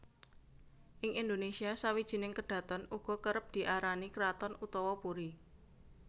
Ing Indonésia sawijining kedhaton uga kerep diarani kraton utawa puri